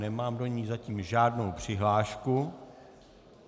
Nemám do ní zatím žádnou přihlášku.